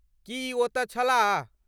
की ई ओतय छलाह?